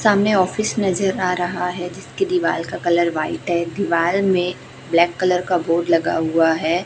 सामने ऑफिस नजर आ रहा है जिसकी दीवाल का कलर व्हाइट है दीवार में ब्लैक कलर का बोर्ड लगा हुआ है।